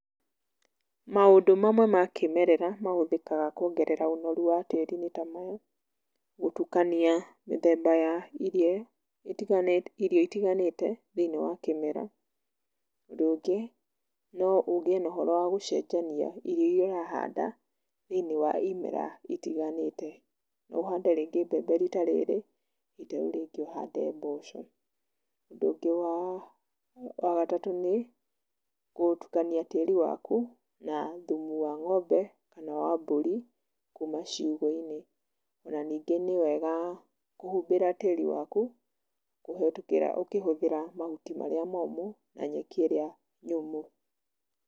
Maũndũ mamwe ma kĩmerera mahũthĩkaga kuongerera ũnoru wa tĩri nĩ ta maya; gũtukania mĩthemba ya irio, irio itiganĩte thĩ-iniĩ wa kĩmera, ũndũ ũngĩ, no ũgĩe na ũhoro wa gũcenjania irio iria ũrahanda thĩ-iniĩ wa imera itiganĩte. No ũhande rĩngĩ mbembe rita rĩrĩ, rita rĩu rĩngĩ ũhande mboco. Ũndũ ũngĩ wa gatatũ nĩ gũtukania tĩri waku na thumu wa ng'ombe, kana wa mbũri, kuma ciugũ-inĩ. O na ningĩ nĩ wega kũhumbĩra tĩri waku, kũhĩtũkĩra ũkĩhũthĩra mahuti marĩa momũ, na nyeki ĩrĩa nyũmũ.